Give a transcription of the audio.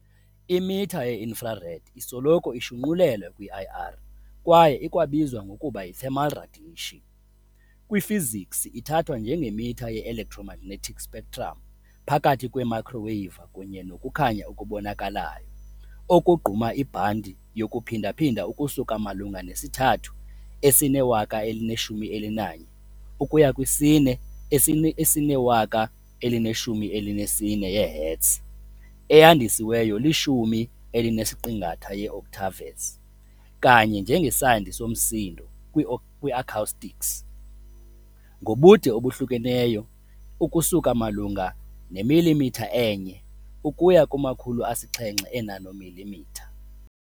Imitha ye-infrared , isoloko ishunqulelwa kwi-IR kwaye ikwabizwa ngokuba yi-thermal radiation, kwifiziksi ithathwa njengemitha ye- electromagnetic spectrum. Phakathi kweemayikhroweyiva kunye nokukhanya okubonakalayo, okugquma ibhanti yokuphindaphinda ukusuka malunga ne-3 esine-1011 ukuya kwi-4 esine-1014 yee-Hertz, eyandisiweyo li-10 elinesiqingatha octaves, kanye njengesandi somsindo, kwi-acoustics, ngobude obuhlukeneyo ukusuka malunga nemilimitha enye ukuya kuma-700 eenanomilimitha.